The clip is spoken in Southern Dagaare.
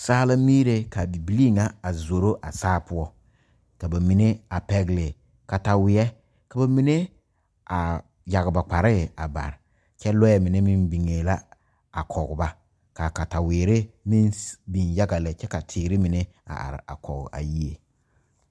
Saa la miire ka bibilii ŋa a zoro a saa poɔ ka ba mine a pɛgle kataweɛ ka ba mine a yaga ba kparre a bare kyɛ lɔɛ mine meŋ biŋee la a kɔg ba ka katawiire meŋ biŋ yaga lɛ kyɛ ka teere mine a are are kɔg a yie.